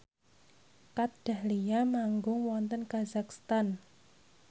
Kat Dahlia manggung wonten kazakhstan